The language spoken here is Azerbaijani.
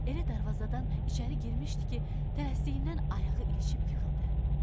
Elə darvazadan içəri girmişdi ki, tələsiyindən ayağı ilişib yıxıldı.